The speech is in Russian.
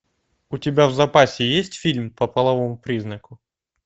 у тебя в запасе есть фильм по половому признаку